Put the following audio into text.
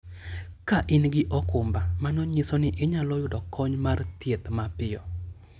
Ka in gi okumba, mano nyiso ni inyalo yudo kony mar thieth mapiyo.